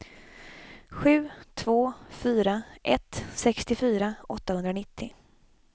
sju två fyra ett sextiofyra åttahundranittio